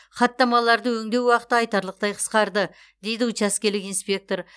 хаттамаларды өңдеу уақыты айтарлықтай қысқарды дейді учаскелік инспектор